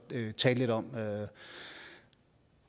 tale lidt om